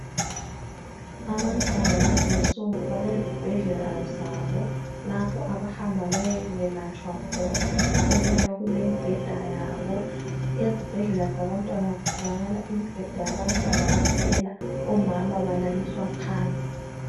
abantwana lezi insuku balezibhedlela zabo lapho abahamba bayekwelatshwa khona okuyabe kulemibheda yabo ezibhedlela zabantwana kutholakala imibheda yabantwana kuphela omama balaliswa phansi